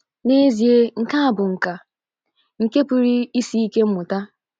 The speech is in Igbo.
N’ezie, nke a bụ nkà — nke pụrụ isi ike mmụta.